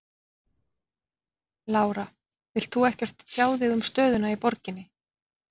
Lára: Vilt þú ekkert tjá þig um stöðuna í borginni?